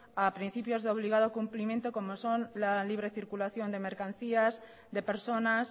a principios de obligado cumplimiento como son la libre circulación de mercancías de personas